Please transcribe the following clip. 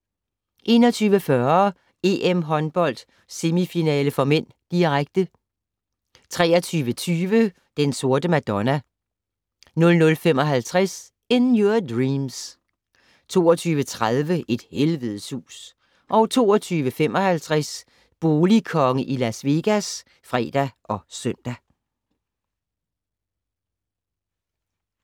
21:40: EM-håndbold: Semifinale (m), direkte 23:20: Den Sorte Madonna 00:55: In Your Dreams 02:30: Et helvedes hus 02:55: Boligkonge i Las Vegas (fre og søn)